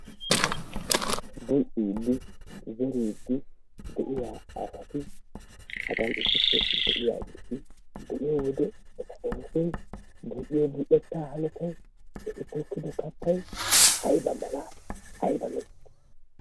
Tokkiidi zeriidi de'iyaa asati hagaan issipe de'iyaageti be'iyoo wode eta oosoy bul"iyoo bul"eettaa hanotaay eti tokkido kattay ayba mala ayba lo"ii!